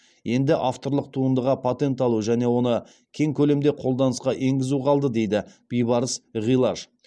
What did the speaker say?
енді авторлық туындыға патент алу және оны кең көлемде қолданысқа енгізу қалды дейді бибарыс ғилаж